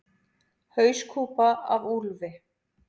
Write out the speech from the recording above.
Hauskúpa af úlfi.